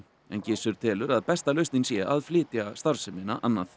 en Gissur telur að besta lausnin sé að flytja starfsemina annað